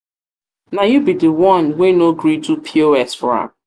na you be the one wey no gree do pos for am?